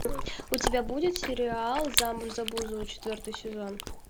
у тебя будет сериал замуж за бузову четвертый сезон